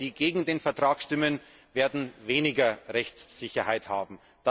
Und alle, die gegen den Vertrag stimmen, werden weniger Rechtssicherheit haben.